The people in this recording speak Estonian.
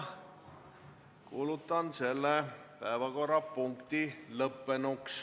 Kuulutan selle päevakorrapunkti arutelu lõppenuks.